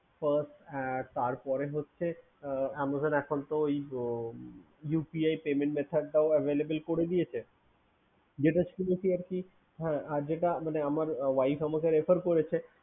First তারপরে তো Amazon এখন UPI payment method টাও Available করেছে আর যেটা আমার wife আমাকে refer করেছে